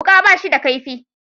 Wuka ba shi da kaifi